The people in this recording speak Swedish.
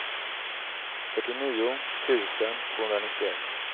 fyrtionio tusen tvåhundranittioett